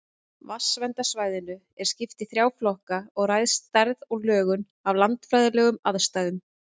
Vatnsverndarsvæðinu er skipt í þrjá flokka og ræðst stærð og lögun af landfræðilegum aðstæðum.